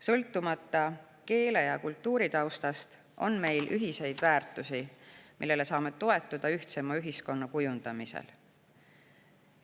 Sõltumata keele‑ ja kultuuritaustast, on meil ühiseid väärtusi, millele saame toetuda ühtsema ühiskonna kujundamisel.